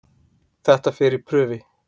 Þetta fer í prufi.